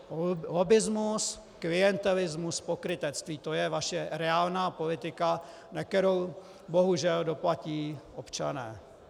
Lobbismus, klientelismus, pokrytectví, to je vaše reálná politika, na kterou bohužel doplatí občané.